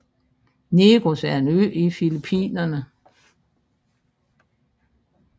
Negros er en ø i Filipinerne